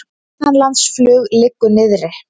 Innanlandsflug liggur niðri